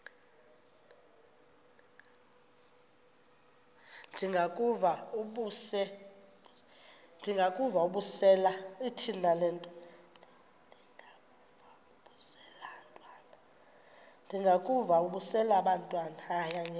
ndengakuvaubuse laa ntwana